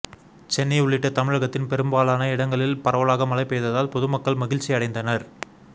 சென்னை உள்ளிட்ட தமிழகத்தின் பெரும்பாலான இடங்களில் பரவலாக மழை பெய்ததால் பொதுமக்கள் மகிழ்ச்சியடைந்தனர்